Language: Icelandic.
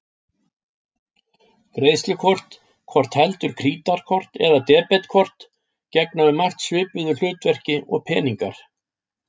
Greiðslukort, hvort heldur krítarkort eða debetkort, gegna um margt svipuðu hlutverki og peningar.